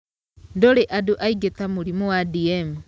Ndũrĩ andũ aingĩ ta mũrimũ wa DM.